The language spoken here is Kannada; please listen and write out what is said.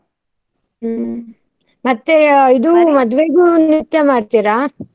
ಹ್ಮ್ ಮತ್ತೆ ಮದುವೆಗೂ ನೃತ್ಯ ಮಾಡ್ತೀರಾ?